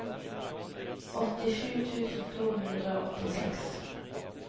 åttisju tusen to hundre og åttiseks